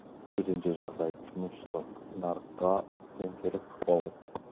төтенше жағдай тұтынушылық нарыққа тіптен теріс ықпал етті